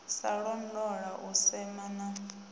sa londola u sema na